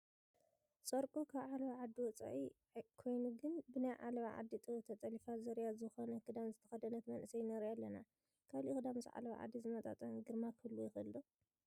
ፀርቁ ካብ ዓለባ ዓዲ ወፃኢ ኮይኑ ግን ብናይ ዓለባ ዓዲ ጥበብ ተጠሊፉ ዝርያ ዝኾነ ክዳን ዝተኸደነት መንእሰይ ንሪኢ ኣለና፡፡ ካልእ ክዳን ምስ ዓለባ ዓዲ ዝመጣጠን ግርማ ክህልዎ ይኽእል ዶ?